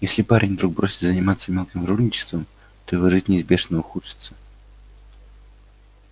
если парень вдруг бросит заниматься мелким жульничеством то его жизнь неизбежно ухудшится